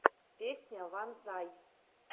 песня ванзай